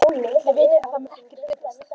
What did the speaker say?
Þið vitið að það mun ekkert breytast.